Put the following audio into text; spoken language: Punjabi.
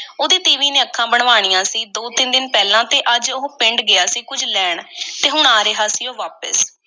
ਉਹਦੀ ਤੀਵੀਂ ਨੇ ਅੱਖਾਂ ਬਣਵਾਈਆਂ ਸੀ, ਦੋ-ਤਿੰਨ ਦਿਨ ਪਹਿਲਾਂ ਤੇ ਅੱਜ ਉਹ ਪਿੰਡ ਗਿਆ ਸੀ ਕੁੱਝ ਲੈਣ ਤੇ ਹੁਣ ਆ ਰਿਹਾ ਸੀ ਉਹ ਵਾਪਸ